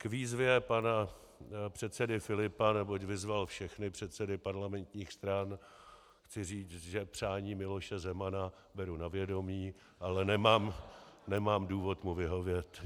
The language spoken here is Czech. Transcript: K výzvě pana předsedy Filipa, neboť vyzval všechny předsedy parlamentních stran, chci říct, že přání Miloše Zemana beru na vědomí, ale nemám důvod mu vyhovět.